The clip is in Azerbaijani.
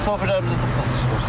Şoferlərimizi toplayırsınız.